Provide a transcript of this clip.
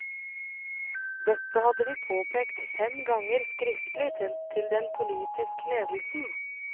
Dette hadde vi påpekt fem ganger skriftlig til den politiske ledelsen.